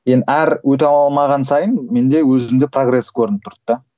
енді әр өте алмаған сайын менде өзімде прогресс көрініп тұрды да